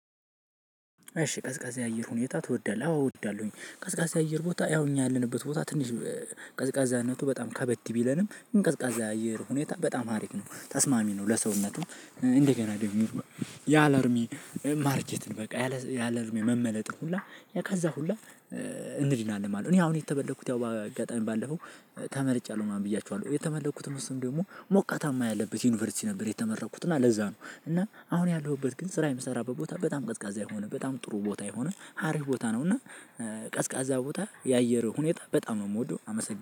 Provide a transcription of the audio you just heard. እሺ ቀዝቃዛ የአየር ሁኔታ ትወዳለህ? አዎ እወዳለሁኝ ቀዝቃዛ አየር ቦታ ያው እኛ ያለንበት ቦታ ትንሽ ቀዝቃዛነቱ በጣም ከበድ ቢለንም ኝ ቀዝቃዛ የአየር ሁኔታ በጣም ሀሪፍ ነው ተስማሚ ነው። ለሰውነትም እንደገና ደግሞ ያለድሜ ማርጄትን በቃ ያለድሜ መመለጥን ሁላ ከዛ ሁላ እንዲናለን ማለት ነው። እኔ አሁን የተመለጥኩት ያው አጋጣሚ ባለፈው ተመለጫለሁ ምናምን ብያችኋለሁ የተመለጥኩት እሱን ደግሞ ሞቃታማ ያለበት ዩኒቨርሲቲ ነበር። የተመረኩት እና ለዛ ነው። እና አሁን ያለሁበት ግን ስራ የምሰራበት ቦታ በጣም ቀዝቃዛ የሆነ በጣም ጥሩ ቦታ የሆነ ሀሪፍ ቦታ ነው። እና ቀዝቃዛ ቦታ የአየር ሁኔታ በጣም ነው የምወደው አመሰግናለሁ